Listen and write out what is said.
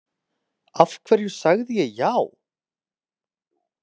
Af hverju sagði ég já?